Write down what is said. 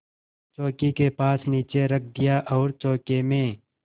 चौकी के पास नीचे रख दिया और चौके में